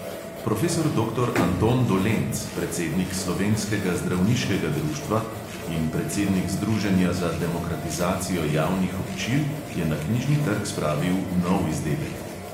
Profesor doktor anton dolenc, predsednik slovenskega zdravniškega društva in predsednik združenja za demokratizacijo javnih občil, je na knjižni trg spravil nov izdelek.